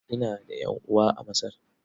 Ina da ƴan'uwa a Masar.